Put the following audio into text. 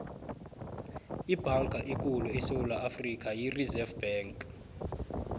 ibhanka ekhulu yesewula afrika yi reserve bank